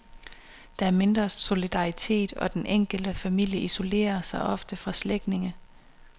Der er mindre solidaritet, og den enkelte familie isolerer sig også fra slægtninge.